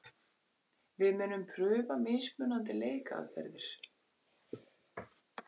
Við munum prufa mismunandi leikaðferðir.